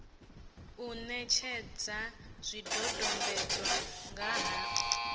u netshedza zwidodombedzwa nga ha